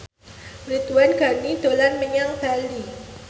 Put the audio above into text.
Ridwan Ghani dolan menyang Bali